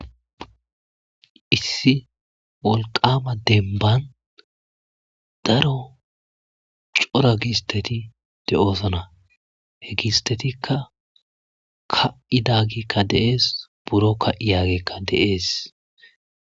issi wolqama denbban daro cora giisteti de'oosona.he giistetikka ka'i da gikka deees. buro ka'i yaagekka deees.